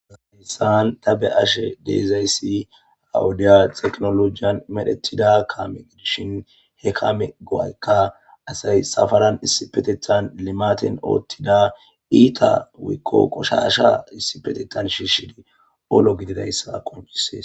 Hayssan ta be7ashe de7izayssi ha wodiya tekinoloojiyan medhettida kaame gidishin,he kaame go7ayka asay safaran issipetethan limaaten oottida iita woykko qoshaasha issipetettan shiishidi olo gididayssa qonccisees.